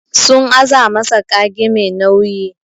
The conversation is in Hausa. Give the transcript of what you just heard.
Sun aza masa kage Mai nauyi.